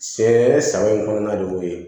Sɛgɛn san in kɔnɔna de y'o ye